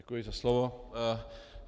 Děkuji za slovo.